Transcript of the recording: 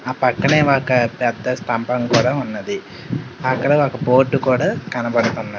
ఆ పక్కనే ఒక పెద్ద స్తంభం కూడా ఉన్నది అక్కడ ఒక బోర్డు కూడా కనబడుతున్నది.